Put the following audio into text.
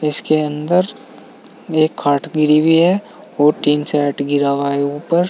इसके अंदर एक खाट गिरी हुई है और टीन शेड गिरा हुआ है ऊपर।